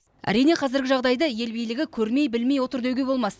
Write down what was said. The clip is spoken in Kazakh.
әрине қазіргі жағдайды ел билігі көрмей білмей отыр деуге болмас